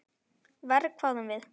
Verr, hváðum við.